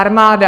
Armáda!